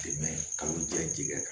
Dɛmɛ kalan kɛ ji kɛ kan